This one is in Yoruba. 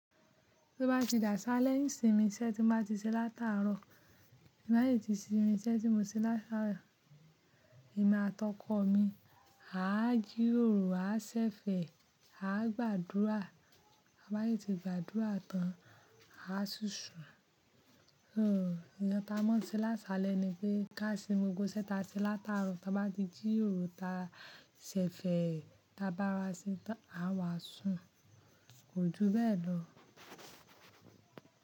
Tí ó bá ti dà asálẹ́ n ìsinmi iṣẹ́ tí mo bá ti ṣe látàárọ̀, ti ba yi tí sinmi iṣẹ́ tí mo ṣe látàárọ̀, èmi àti ọkọ mi á jí ròró, á ṣẹ̀fẹ̀, á gbàdúrà. Bá yé ti gbàdúrà tán, a si sùn. Un, ìyẹn ta mọ se lásálẹ́ ni pé ká sinmi gbogbo iṣẹ́ ta ṣe látàárọ̀, tabá ti jí ròró ta ṣẹ̀fẹ̀, tabá wá ṣe tán, a wà sùn. Ojú bẹ́ẹ̀ lọ.